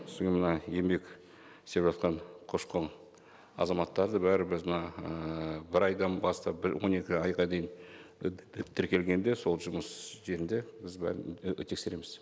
содан кейін мына еңбек істеп жатқан көші қон азаматтары да бәрі біз мына ііі бір айдан бастап он екі айға дейін тіркелгенде сол жұмыс жерінде біз бәрін і тексереміз